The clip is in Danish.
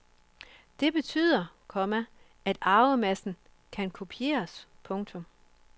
Det betyder, komma at arvemassen kan kopieres. punktum